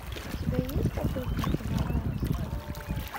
у тебя есть охотники на монстров